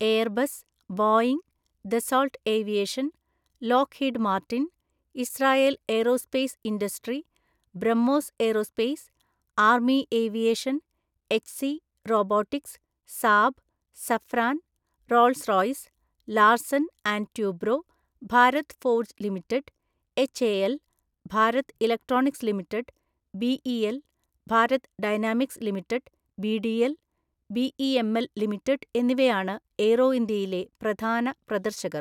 Airbus, Boeing, Dassault aviation, Lockheed Martin, Israel aerospace industry, BrahMos aerospace, army aviation, HC robotics, Saab, Safran, Rolls Royce, Larsen and Toubro, Bharat forge limited, HAL, Bharat electronics limited, BEL, Bharat dynamics limited BDL, BEML limited എന്നിവയാണ് Aero ഇന്ത്യയിലെ പ്രധാന പ്രദർശകർ.